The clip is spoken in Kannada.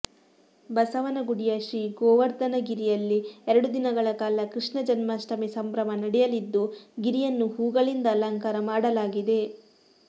ಬಸವನಗುಡಿಯ ಶ್ರೀಗೋವರ್ಧನಗಿರಿಯಲ್ಲಿ ಎರಡು ದಿನ ಕಾಲ ಕೃಷ್ಣ ಜನ್ಮಾಷ್ಟಮಿ ಸಂಭ್ರಮ ನಡೆಯಲಿದ್ದು ಗಿರಿಯನ್ನು ಹೂಗಳಿಂದ ಅಲಂಕಾರ ಮಾಡಲಾಗಿದೆ